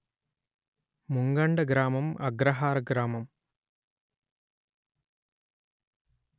ముంగండ గ్రామం అగ్రహార గ్రామం